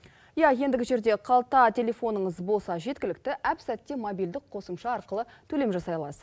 иә ендігі жерде қалта телефоныңыз болса жеткілікті әпсәтте мобильдік қосымша арқылы төлем жасай аласыз